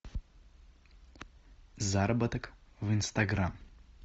заработок в инстаграм